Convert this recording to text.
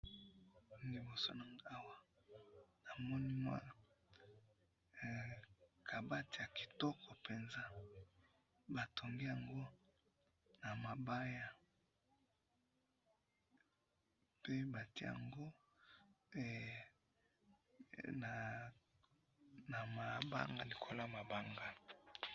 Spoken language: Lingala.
Liboso na ngai awa, namoni mwa kabati ya kitoko penza. Batongi yango na mabaya. Pe batie yango likolo ya mabanga